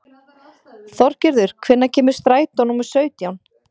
Þorgerður, hvenær kemur strætó númer sautján?